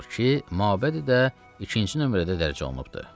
mabədi də ikinci nömrədə dərc olunubdur.